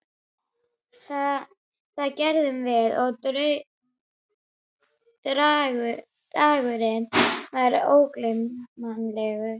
Það gerðum við og dagurinn varð ógleymanlegur.